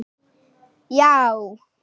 Já!